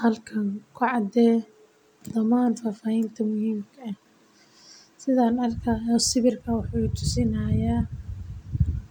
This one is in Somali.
Halkan ku cadee dhammaan faafaahinta muxiimka ah, sidhan arki xayo sawirka wuxu itusinixayaa